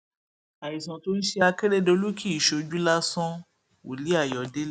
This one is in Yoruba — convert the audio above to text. àìsàn tó ń ṣe akérèdọlù kìí ṣojú lásánwòlíì ayọdẹlẹ